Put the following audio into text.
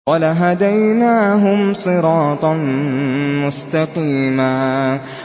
وَلَهَدَيْنَاهُمْ صِرَاطًا مُّسْتَقِيمًا